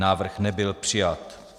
Návrh nebyl přijat.